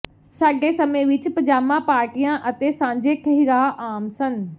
ਸਾਡੇ ਸਮੇਂ ਵਿਚ ਪਜਾਮਾ ਪਾਰਟੀਆਂ ਅਤੇ ਸਾਂਝੇ ਠਹਿਰਾਅ ਆਮ ਸਨ